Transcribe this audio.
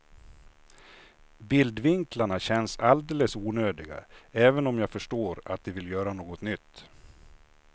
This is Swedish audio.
Bildvinklarna känns alldeles onödiga, även om jag förstår att de vill göra något nytt.